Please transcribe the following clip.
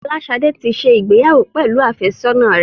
Folashade tí ṣe ìgbéyàwó pẹlú afesona rẹ